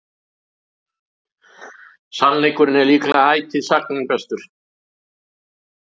sannleikurinn er líklega ætíð sagna bestur